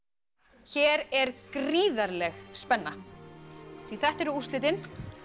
hér er gríðarleg spenna því þetta eru úrslitin